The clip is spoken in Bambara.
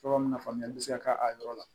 Tɔgɔ munna faamuyali bɛ se ka k'a yɔrɔ la